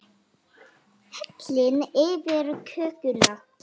Hellið yfir kökuna.